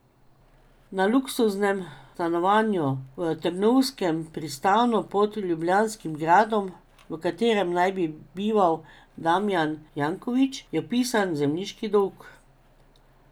Na luksuznem stanovanju v Trnovskem pristanu pod ljubljanskim gradom, v katerem naj bi bival Damijan Janković, je vpisan zemljiški dolg.